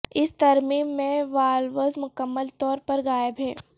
اس ترمیم میں والوز مکمل طور پر غائب ہیں